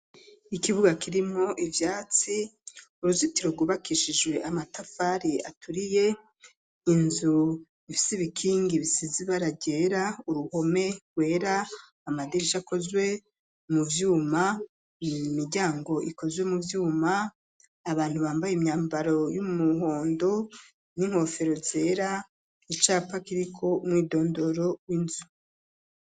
Ikibuga kirimwo ivyatsi uruzitiro rwubakishijwe amatafari aturiye inzu ifise ibikingi bisize ibara ryera uruhome rwera amadirisha akozwe mu vyuma mu miryango ikozwe mu vyuma abantu bambaye imyambaro y'umuhondo n'inkofero zera icapa kiriko mwidondoro w'inzu.